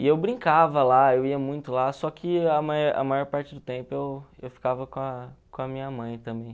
E eu brincava lá, eu ia muito lá, só que a maior parte do tempo eu eu ficava com a com a inha mãe também.